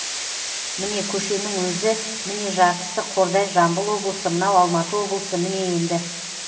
міне көшенің өзі міне жартысы қордай жамбыл облысы мынау алматы облысы міне енді